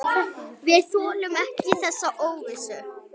Við þolum ekki þessa óvissu.